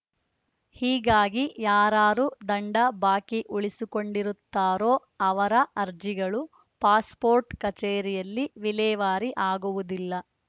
ಹೀಗಾಗಿ ಯಾರಾರು ದಂಡ ಬಾಕಿ ಉಳಿಸಿಕೊಂಡಿರುತ್ತಾರೋ ಅವರ ಅರ್ಜಿಗಳು ಪಾಸ್‌ಪೋರ್ಟ್‌ ಕಚೇರಿಯಲ್ಲಿ ವಿಲೇವಾರಿ ಆಗುವುದಿಲ್ಲ